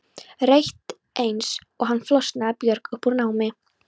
Rétt eins og hann flosnaði Björg upp úr námi.